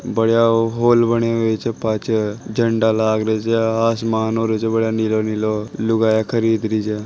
बढ़िया हाल बने हुए छे पाछे लाग रा छे आसमान होरो ज बढ़िया नीला नीला और लुगाइयां खरीद रही छे।